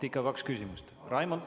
Ikka kaks küsimust on.